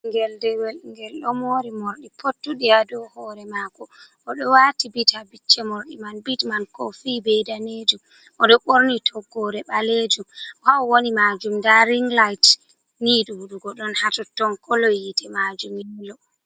Ɓingel dewel ngel ɗo mori morɗi pottuɗi do hore mako, oɗo wati bit ha bicce morɗi man, bittman ko fi be danejum, oɗo ɓorni toggore balejum. ha o woni majum da rinlait ni ɗuɗugo ɗon hatotton, kolo yite majum yelo.